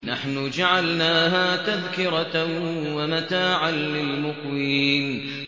نَحْنُ جَعَلْنَاهَا تَذْكِرَةً وَمَتَاعًا لِّلْمُقْوِينَ